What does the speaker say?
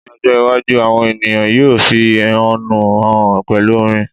ní ọjọ iwaju, awọn ènìyàn yíò fi ehọ́nú hàn pẹlú orin